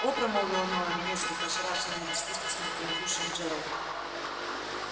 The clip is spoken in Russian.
о промолвила мелани несколько ошарашенная бесхитростным прямодушием джералда